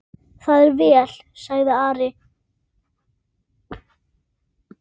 Það er vel, sagði Ari.